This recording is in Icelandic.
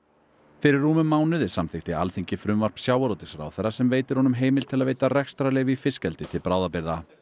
fyrir rúmum mánuði samþykkti Alþingi frumvarp sjávarútvegsráðherra sem veitir honum heimild til að veita rekstrarleyfi í fiskeldi til bráðabirgða